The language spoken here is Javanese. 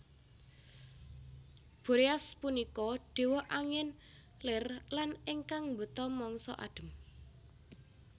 Boreas punika dewa angin ler lan ingkang mbeta mangsa adhem